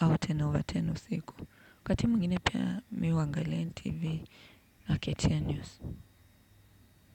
au kumi over kumi usiku. Wakati mwingine pia mimi huangalia NTV na KTN news.